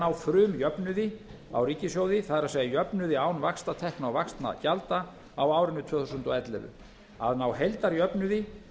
ná frumjöfnuði á ríkissjóði það er jöfnuði án vaxtatekna og vaxtagjalda á árinu tvö þúsund og ellefu að ná heildarjöfnuði